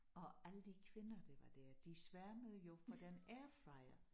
Og alle de kvinder der var dér de sværmede jo for den airfryer